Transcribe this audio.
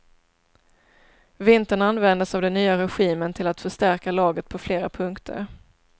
Vintern användes av den nya regimen till att förstärka laget på flera punkter.